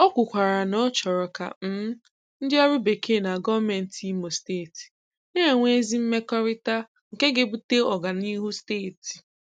Ó kwukwàrà na ọ chọ́rọ̀ ka um ndị ọrụ Bekee na gọ́ọ̀mentị Ìmò Steeti na-enwe ezi mmekọrịta nke ga-ebute ọ̀ganịhụ Steeti.